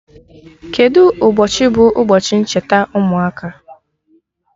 Kedụ ụbọchị bụ ụbọchi ncheta ụmụaka?